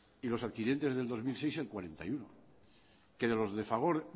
y los adquirientes del dos mil seis el cuarenta y uno por ciento que de los de fagor